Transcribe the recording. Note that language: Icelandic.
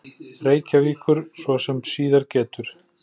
Reykjavíkur, svo sem síðar getur.